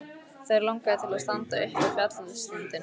Þær langaði til að standa uppi á fjallstindinum.